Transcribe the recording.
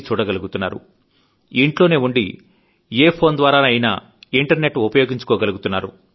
చూడగలుగుతున్నారు ఇంట్లోనే ఉండి ఏదో ఫోన్ ద్వారా ఇంటర్నెట్ ఉపయోగించుకోగలుగుతున్నారు